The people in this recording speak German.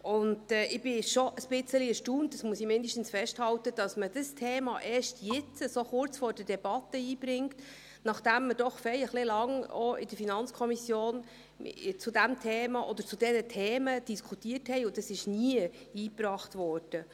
Ich bin schon etwas erstaunt – dies zumindest muss ich festhalten –, dass man dieses Thema erst jetzt, so kurz vor der Debatte, einbringt, nachdem wir doch recht lange, auch in der FiKo, über dieses Thema oder über diese Themen diskutiert haben, das aber nie eingebracht wurde.